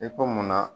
I ko munna